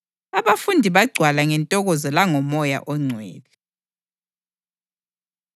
Abafundi bagcwala ngentokozo langoMoya oNgcwele.